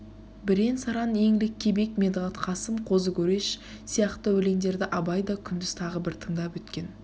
бірен-саран еңліккебек медғат-қасым қозы көреш сияқты өлендерді абай да күндіз тағы бір тындап өткен